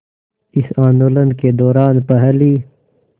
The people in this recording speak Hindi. इस आंदोलन के दौरान पहली